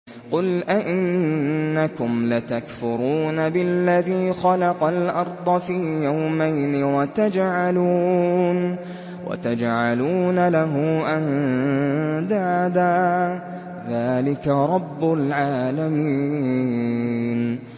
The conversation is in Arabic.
۞ قُلْ أَئِنَّكُمْ لَتَكْفُرُونَ بِالَّذِي خَلَقَ الْأَرْضَ فِي يَوْمَيْنِ وَتَجْعَلُونَ لَهُ أَندَادًا ۚ ذَٰلِكَ رَبُّ الْعَالَمِينَ